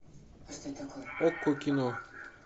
окко кино